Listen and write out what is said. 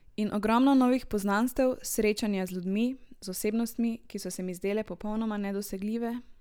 In ogromno novih poznanstev, srečanja z ljudmi, z osebnostmi, ki so se mi zdele popolnoma nedosegljive.